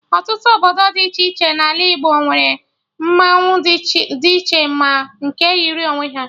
Ọtụtụ obodo dị iche iche N'ala Igbo nwere mmanwụ dị iche ma nke yiri onwe ha